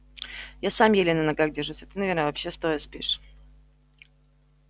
я сам еле на ногах держусь а ты наверное вообще стоя спишь